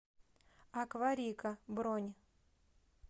акварика бронь